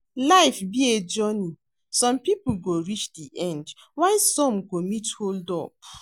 Life be a journey, some people go reach the end while some go meet hold up